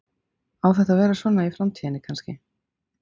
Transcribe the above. Á þetta að vera svona í framtíðinni kannski?